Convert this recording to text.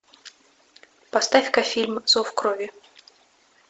поставь ка фильм зов крови